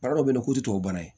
Baara dɔ bɛ ye k'o tɛ tubabukan ye